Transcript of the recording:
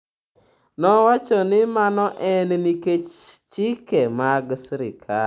Nowacho ni mano en nikech chike mag sirkal.